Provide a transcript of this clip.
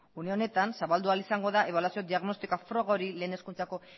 une honetan zabaldu ahal izango da ebaluazio diagnostikoa froga hori lehen hezkuntzako